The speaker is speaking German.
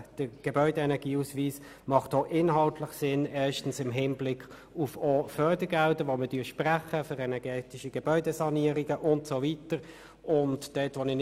Der Gebäudeenergieausweis macht auch inhaltlich Sinn, und zwar erstens im Hinblick auf Fördergelder, die wir für energetische Gebäudesanierungen und so weiter sprechen.